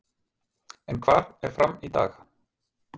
En hvar er FRAM í dag?